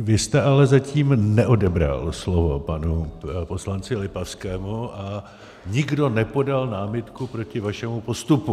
vy jste ale zatím neodebral slovo panu poslanci Lipavskému a nikdo nepodal námitku proti vašemu postupu.